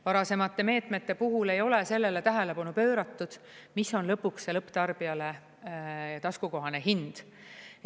Varasemate meetmete puhul ei ole sellele tähelepanu pööratud, mis on lõpuks see lõpptarbijale taskukohane hind.